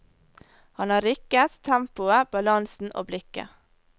Han har rykket, tempoet, balansen og blikket.